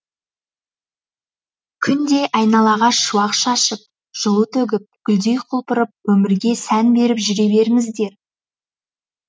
күндей айналаға шуақ шашып жылу төгіп гүлдей құлпырып өмірге сән беріп жүре беріңіздер